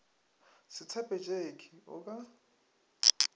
se tshepe tšeke o ka